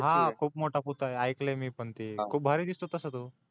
हा खूप मोठा पुतळाय तिथ ऐकल मी पण ते खूप भारी दिसतो तसा तो